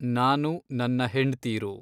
ನಾನು ನನ್ನ ಹೆಂಡ್ತೀರು